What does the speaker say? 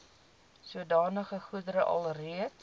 sodanige goedere alreeds